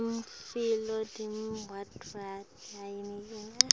tembatfo talabadvuna hyedula